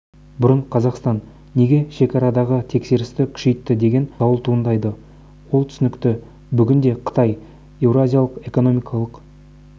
бұрын қазақстан неге шекарадағы тексерісті күшейтті деген сауал туындайды ол түсінікті бүгінде қытай еуразиялық экономикалық